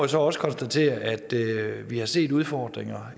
så også konstatere at vi har set udfordringer